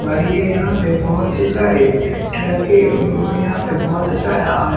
और ये यहाँ पे बहुत ही सारे ट्रक के यहाँ पे बहुत सारा और--